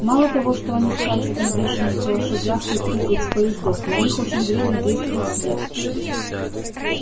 мало того что они скачут на бешеных лошадях и прыгают с поездов на них очень вредно действует свет